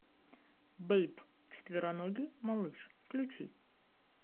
бэйб четвероногий малыш включи